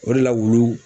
O de la wulu